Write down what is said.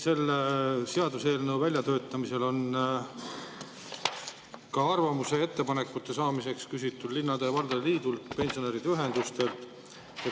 Selle seaduseelnõu väljatöötamisel on arvamusi ja ettepanekuid küsitud linnade ja valdade liidult ning pensionäride ühendustelt.